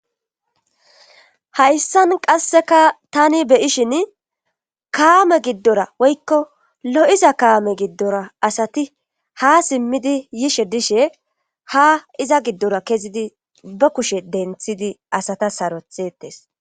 hayssan qasseka tani beyishin kaame giddora woykko lo7iza kaame giddora asati ha simmidi yishe dishe ha iza giddora kezidi ba kushe denthidi asata sarothetes